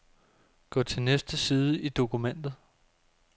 Gå til næste side i dokumentet.